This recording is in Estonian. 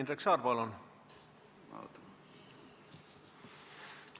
Indrek Saar, palun!